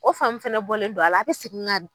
O fan min fana bɔlen don a la, a bi segin ka